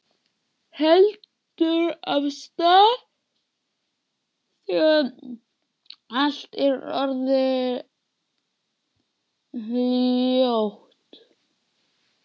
Heldur af stað þegar allt er orðið hljótt.